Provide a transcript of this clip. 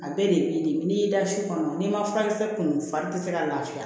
A bɛɛ de b'i de n'i y'i da su kɔnɔ n'i ma furakisɛ kunun far'i tɛ se ka lafiya